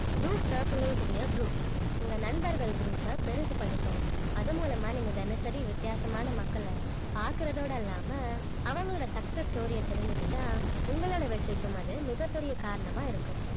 do circulate in a groups உங்க நண்பர்கள் group அ பெருசு பண்ணிக்கோங்க அது மூலமா நீங்க தினசரி வித்தியாசமான மக்களை பாக்கறதோட அல்லாம அவங்களோட success story அ தெரிஞ்சுக்கிட்டா உங்களோட வெற்றிக்கும் அது மிகப் பெரிய காரணமா இருக்கும்